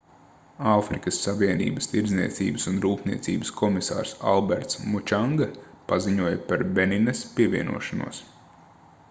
āfrikas savienības tirdzniecības un rūpniecības komisārs alberts mučanga paziņoja par beninas pievienošanos